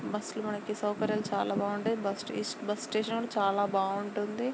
Bus లు మనకి సౌకర్యాలు చాల బాగుంటాయి. బస్సు స్టేషన్ కూడా చాలా బాగుంటుంది.